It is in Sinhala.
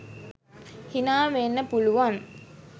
හිනා වෙන්න පුළුවන්.